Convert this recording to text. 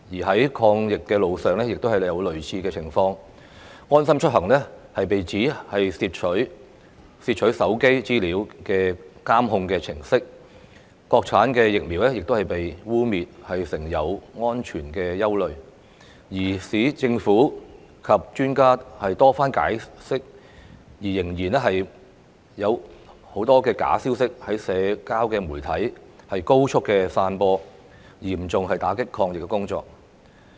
在抗疫路上亦有類似情況，"安心出行"被形容是竊取手機資料的監控程式，國產疫苗亦被污衊有安全隱憂，即使政府及專家多番解釋仍有很多假消息在社交媒體高速散播，嚴重打擊抗疫工作。